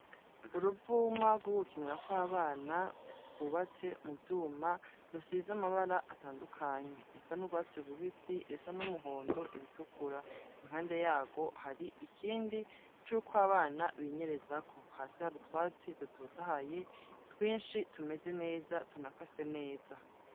Uruvuma rw'ugukinira ko abana rwubatse mu vyuma rusize amabara atandukanye iresa n'ubwatse rubisi rusa n'umuhondo iritukura impande yago hari ikindi curko abana binyereza ko hasi ha rutwatsi rutotahaye twinshi tumeze neza tunakase neza.